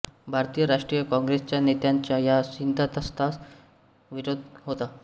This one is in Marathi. भारतीय राष्ट्रीय कॉंग्रेसच्या नेत्यांचा या सिद्धान्तास विरोध होता